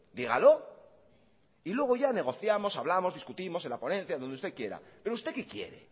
dígalo y luego ya negociamos hablamos discutimos en la ponencia o donde usted quiera pero usted qué quiere